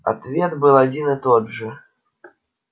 ответ был один и тот же